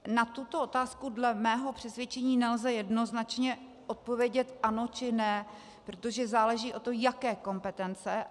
Na tuto otázku dle mého přesvědčení nelze jednoznačně odpovědět ano či ne, protože záleží na tom, jaké kompetence.